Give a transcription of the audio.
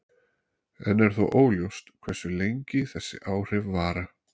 Enn er þó óljóst hversu lengi þessi áhrif vara.